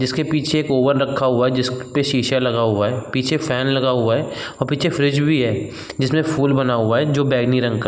जिसके पीछे एक ओवन रखा हुआ है जिसक् पे शीशा लगा हुआ है। पीछे फैन लगा हुआ है औ पीछे फ्रिज भी है जिसमें फूल बना हुआ है जो बैंगनी रंग का --